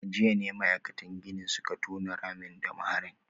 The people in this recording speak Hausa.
A jiya ne ma’aikatan ginin suka tona ramin da maharin